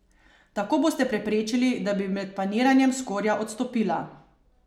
Tako boste preprečili, da bi med paniranjem skorja odstopila.